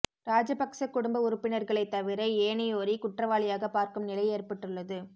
ராஜபக்ஸ குடும்ப உறுப்பினர்களைத் தவிர ஏனையோரை குற்றவாளியாகப் பார்க்கும் நிலை ஏற்பட்டுள்ளது